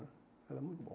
Era muito bom.